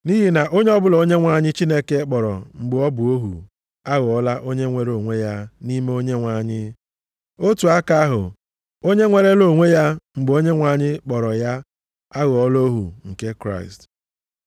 Nʼihi na onye ọbụla Onyenwe anyị Chineke kpọrọ mgbe o bụ ohu, aghọọla onye nweere onwe ya nʼime Onyenwe anyị. Otu aka ahụ, onye nwerela onwe ya mgbe Onyenwe anyị kpọrọ ya aghọọla ohu nke Kraịst.